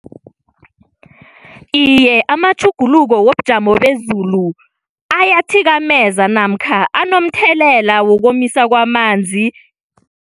Iye, amatjhuguluko wobujamo bezulu ayathikameza namkha anomthelela wokomisa kwamanzi.